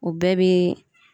O bɛɛ bi